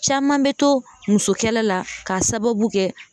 Caman bɛ to musokɛlɛ la k'a sababu kɛ